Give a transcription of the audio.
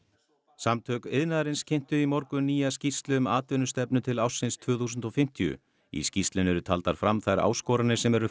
samtök iðnaðarins kynntu í morgun nýja skýrslu um atvinnustefnu til ársins tvö þúsund og fimmtíu í skýrslunni eru taldar fram þær áskoranir sem eru